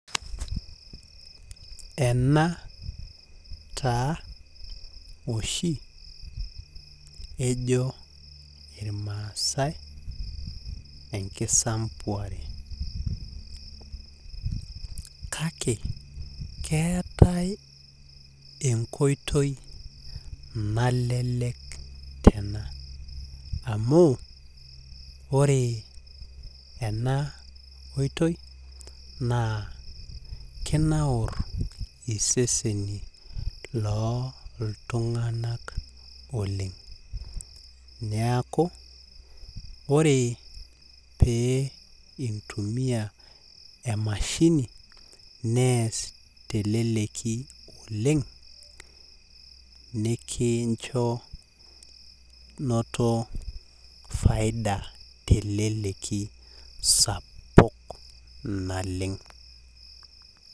Ena taa oshi ejo irmaasae enkisampuare kake keetae enkoitoi nalelek tena amu ore ena oitoi naa kinaur iseseni loo iltunganak oleng . Niaku ore pee intumia emashini nees teleleki oleng nikincho noto faida teleki sapuk naleng.